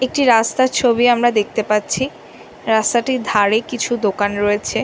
একটি রাস্তার ছবি আমরা দেখতে পাচ্ছি রাস্তাটির ধারে কিছু দোকান রয়েছে।